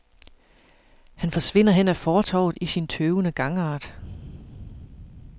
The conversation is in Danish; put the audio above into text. Han forsvinder hen ad fortovet i sin tøvende gangart.